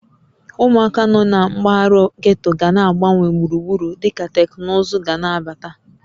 Ụmụaka nọ na mpaghara getto ga-agbanwe gburugburu dịka teknụzụ ga na-abata